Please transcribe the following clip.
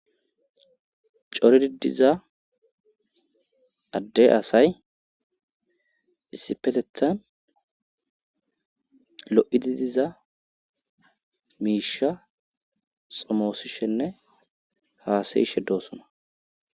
Coridi diza addey asay issipetethan lo7idi diza miisha xomoosishenne haasayishe doosona.